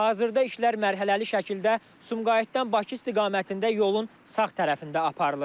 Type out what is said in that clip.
Hazırda işlər mərhələli şəkildə Sumqayıtdan Bakı istiqamətində yolun sağ tərəfində aparılır.